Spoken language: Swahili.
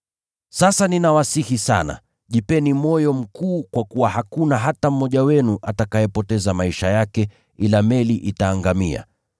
Sasa ninawasihi sana, jipeni moyo mkuu kwa kuwa hakuna hata mmoja wenu atakayepoteza maisha yake, ila meli itaangamia.